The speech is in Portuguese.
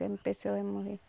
Quando a pessoa vai morrer.